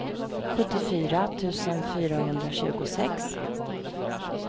sjuttiofyra tusen fyrahundratjugosex